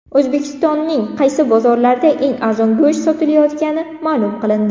O‘zbekistonning qaysi bozorlarida eng arzon go‘sht sotilayotgani ma’lum qilindi.